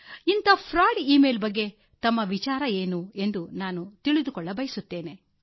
ಇಂತಹ ವಂಚನೆ ಮತ್ತು ಮೋಸದ ಇ ಮೇಲ್ ಕುರಿತು ನಿಮ್ಮ ಅಭಿಪ್ರಾಯವೇನು ಎಂದು ತಿಳಿದುಕೊಳ್ಳಬಯಸುವೆ